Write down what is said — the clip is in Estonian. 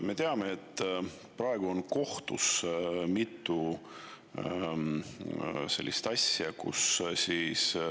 Me teame, et praegu on kohtus mitu sellist asja.